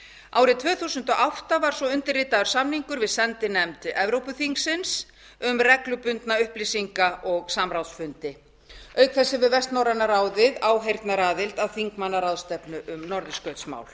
árið tvö þúsund og átta var svo undirritaður samningur við sendinefnd evrópuþingsins um reglubundna upplýsinga og samráðsfundi auk þess hefur vestnorræna ráðið áheyrnaraðild að þingmannaráðstefnu um norðurskautsmál